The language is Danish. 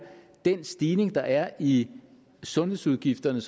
den stigning der er i sundhedsudgifterne